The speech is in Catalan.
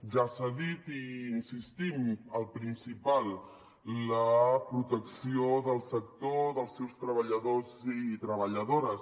ja s’ha dit i hi insistim el principal la protecció del sector dels seus treballadors i treballadores